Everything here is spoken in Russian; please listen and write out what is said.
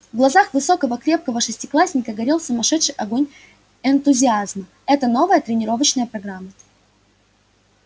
в глазах высокого крепкого шестиклассника горел сумасшедший огонь энтузиазма это новая тренировочная программа